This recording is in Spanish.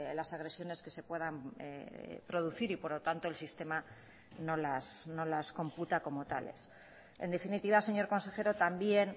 las agresiones que se puedan producir y por lo tanto el sistema no las computa como tales en definitiva señor consejero también